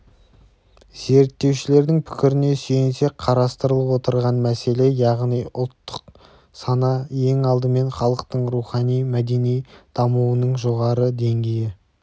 зерттеушілердің пікіріне сүйенсек қарастырылып отырған мәселе яғни ұлттық сана ең алдымен халықтың рухани-мәдени дамуының жоғары деңгейі